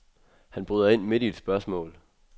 Han bryder ind midt i et spørgsmål.